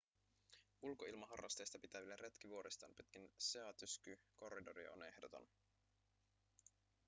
ulkoilmaharrasteista pitäville retki vuoristoon pitkin sea-to-sky corridoria on ehdoton